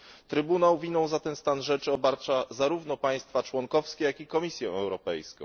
Trybunał winą za ten stan rzeczy obarcza zarówno państwa członkowskie, jak i Komisję Europejską.